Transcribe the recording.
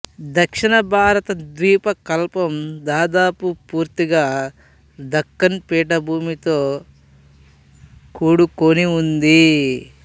దక్షిణ భారత ద్వీపకల్పం దాదాపు పూర్తిగా దక్కను పీఠభూమితో కూడుకుని ఉంది